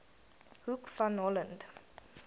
hoek van holland